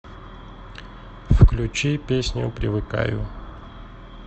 включи песню привыкаю